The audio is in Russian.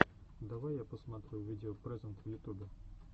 давай я посмотрю видео прэзэнт в ютубе